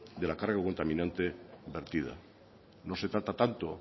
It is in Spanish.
de la carga contaminante vertida no se trata tanto